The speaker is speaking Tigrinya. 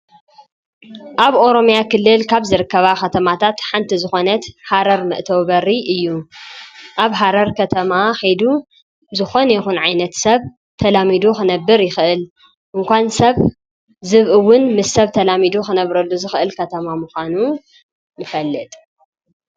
ኣብ ኦሮምያ ክልል ካብ ዘርከባ ኸተማታት ሓንቲ ዝኾነት ሓረር ምእተው በሪ እዩ ኣብ ሃረር ከተማ ኼዱ ዝኾን የኹን ዓይነት ሰብ ተላሚዱ ኽነብር ይኽእል እኳን ሰብ ዝብእውን ምስ ሰብ ተላሚዱ ኽነብረዱ ዝኽእል ከተማ ምዃኑ ንፈልጥ።